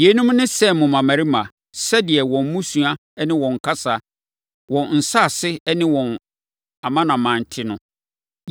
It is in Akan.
Yeinom ne Sem mmammarima, sɛdeɛ wɔn mmusua ne wɔn kasa, wɔn nsase ne wɔn amanaman te no.